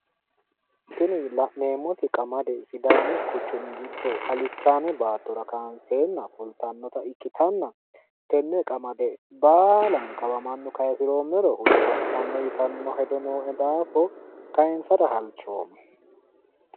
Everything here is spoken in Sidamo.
Tini la'neemmoti qamade quchuminke giddo alichaame baattora kaanseenna foltannota ikkitanna, tenne qamade baalankawa mannu kaayiisiroomero hude ba'anno yitanno hedo nooe daafo kaayiinsara halchoommo.